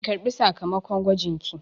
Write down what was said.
Ki ƙarɓi sakamakon gwajinki!